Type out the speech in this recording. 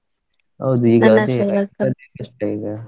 ಹೌದು ಕಸ್ಟಾ ಈಗಾ.